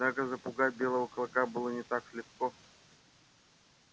однако запугать белого клыка было не так легко